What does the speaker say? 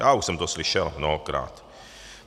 Já už jsem to slyšel mnohokrát.